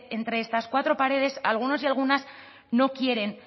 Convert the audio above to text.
entre estas cuatro paredes algunos y algunas no quieren